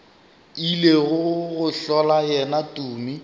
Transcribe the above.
ile go hlola yena tumi